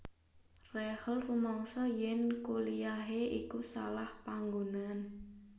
Rachel rumangsa yèn kuliyahé iku salah panggonan